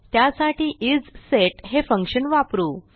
त्यासाठी इसेट हे फंक्शन वापरू